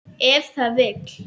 Ef það vill.